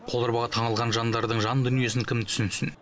қоларбаға таңылған жандардың жан дүниесін кім түсінсін